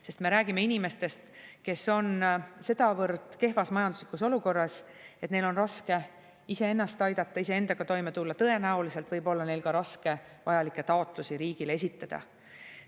Sest me räägime inimestest, kes on sedavõrd kehvas majanduslikus olukorras, et neil on raske iseennast aidata, iseendaga toime tulla, ja tõenäoliselt võib olla neil ka raske vajalikke taotlusi riigile esitada.